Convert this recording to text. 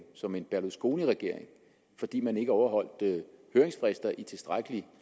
som en berlusconiregering fordi man ikke overholdt høringsfrister i tilstrækkelig